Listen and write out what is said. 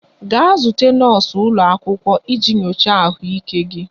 Gaa zute nọọsụ ụlọ akwụkwọ iji nyochaa ahụike gị!